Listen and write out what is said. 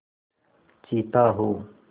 चीता हो